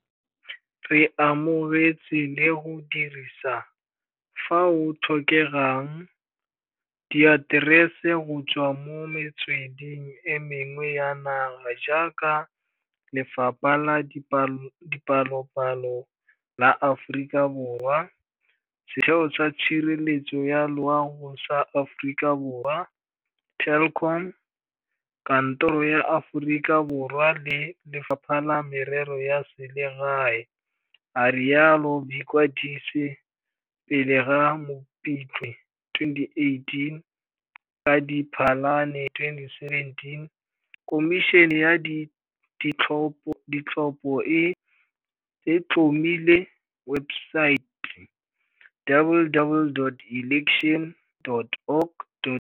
Re amogetse le go dirisa, fao o tlhokegang, diaterese go tswa mo metsweding e mengwe ya naga jaaka, Lefapa la Dipalopalo la Aforika Borwa, Setheo sa Tshireletso ya Loa go sa Aforika Borwa, Telkom, Kantoroposo ya Aforika Borwa le Lefapha la Merero ya Selegae a rialo.vikwadise pele ga Mopitlwe 2018 Ka Diphalane 2017 Khomišene ya Ditlhopo e tlhomile webosaete, www.elections.org.za,